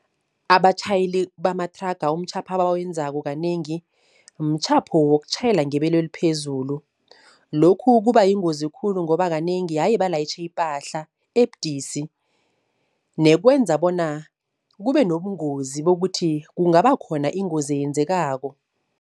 Abatjhayeli bamathraga umtjhapho abawenzako kanengi, mtjhapho wokutjhayela ngebelo eliphezulu. Lokhu kuba yingozi khulu ngoba kanengi haye balayitjhe ipahla ebudisi nekwenza bona kube nobungozi bokuthi kungaba khona ingozi eyenzekako.